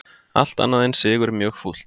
Allt annað en sigur mjög fúlt